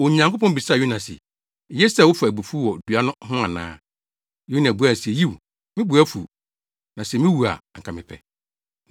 Onyankopɔn bisaa Yona se, “Eye sɛ wofa abufuw wɔ dua no ho ana?” Yona buae se, “Yiw, me bo afuw, na sɛ miwu a anka mepɛ.”